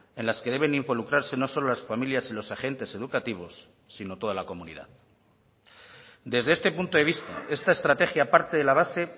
en las que deben involucrarse no solo las familias y los agentes educativos sino toda la comunidad desde este punto de vista esta estrategia parte de la base